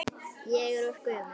Ég er of gömul.